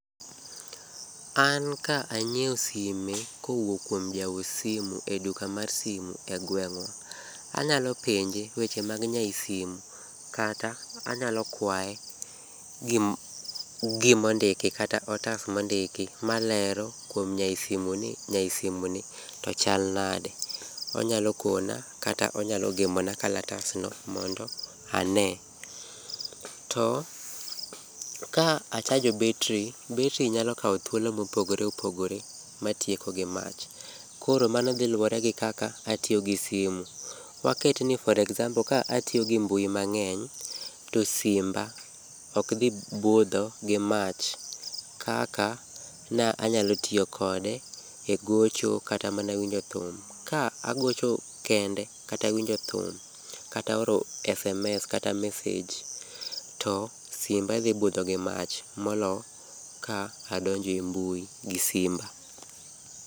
An ka anyieo sime kowuok kuom jaus simu e duka mar simu e gweng'wa. Anyalo penje weche mag nyai simu, kata anyalo kwae gimondiki kata otas mondiki malero kuom nyai simu ni, ni nyai simu ni to chal nade. Onyalo kona kata onyalo gemona kalatas no mondo ane. To ka achajo betri, betri nyalo kawo thuolo mopogore opogore matieko gimach, koro mano dhi luwore gi kaka atiyo gi simu. Waket ni for example ka atiyo gi mbui mang'eny, to simba okdhi budho gi mach kaka na anyalo tiyo kode e gocho kata mana winjo thum. Ka agocho kende, kata winjo thum kato oro SMS, kata message, to simba dhi budho gi mach molo ka adonjo e mbui gi simba.